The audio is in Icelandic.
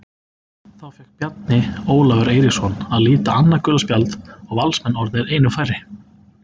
Þá fékk Bjarni Ólafur Eiríksson að líta annað gula spjald og Valsmenn orðnir einum færri.